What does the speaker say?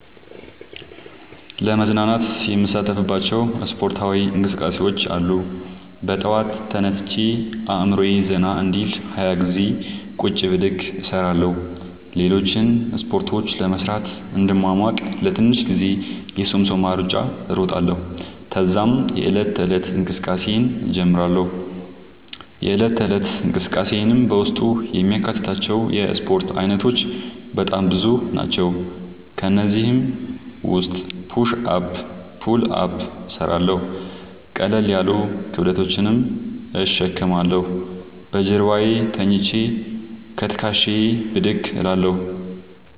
ለመዝናናት የምሣተፍባቸዉ እስፖርታዊ እንቅስቃሤዎች አሉ። በጠዋት ተነስቼ አእምሮየ ዘና እንዲል 20ገዜ ቁጭ ብድግ እሰራለሁ። ሌሎችን እስፖርቶች ለመሥራት እንድሟሟቅ ለትንሽ ጊዜ የሶምሶማ እሩጫ እሮጣለሁ። ተዛም የዕለት ተለት እንቅስቃሴየን እጀምራለሁ። የእለት ተለት እንቅስቃሴየም በውስጡ የሚያካትታቸዉ የእስፖርት አይነቶች በጣም ብዙ ናቸዉ። ከእነዚህም ዉስጥ ፑሽ አፕ ፑል አፕ እሠራለሁ። ቀለል ያሉ ክብደቶችን እሸከማለሁ። በጀርባየ ተኝቸ ከትክሻየ ብድግ እላለሁ።